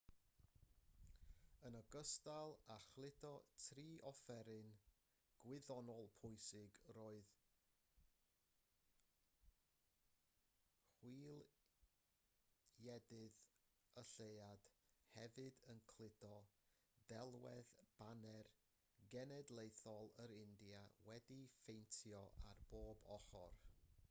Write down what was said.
yn ogystal â chludo tri offeryn gwyddonol pwysig roedd chwiliedydd y lleuad hefyd yn cludo delwedd baner genedlaethol yr india wedi'i phaentio ar bob ochr